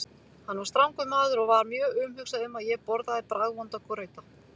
Hann var strangur maður og var mjög umhugað um að ég borðaði bragðvonda grauta.